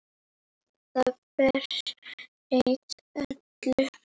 Það breytti öllu.